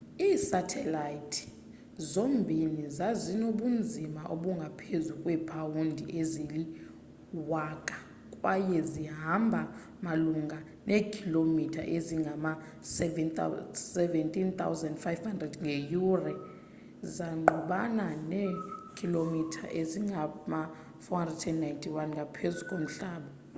iisathelayithi zombini ezazinobunzima obungaphezulu kweepawundi ezili-1000 kwaye zihamba malunga neekhilomitha ezingama-17,500 ngeyure zangqubana neekhilomitha ezingama-491 ngaphezulu komhlaba